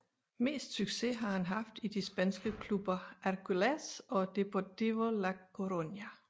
Mest succes har han haft i de spanske klubber Hércules og Deportivo la Coruña